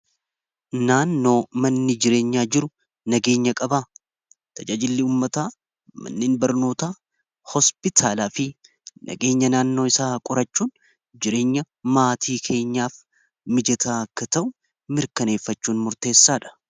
Naannoo manni jireenyaa jiru nageenya qabaa tajajillii ummataa mannin barnootaa hospitaalaa fi nageenya naannoo isaa qorachuun jireenya maatii keenyaaf mijetaa akka ta'u mirkaneeffachuun murteessaa dha.